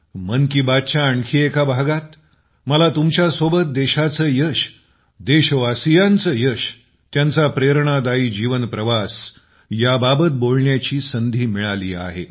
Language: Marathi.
मन की बातच्या आणखी एका भागात मला तुमच्यासोबत देशाचे यश देशवासियांचे यश त्यांचा प्रेरणादायी जीवन प्रवास याबाबत बोलण्याची संधी मिळाली आहे